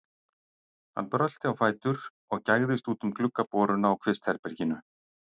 Hann brölti á fætur og gægðist út um gluggaboruna á kvistherberginu.